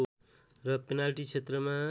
र पेनाल्टी क्षेत्रमा